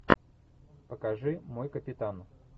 покажи мой капитан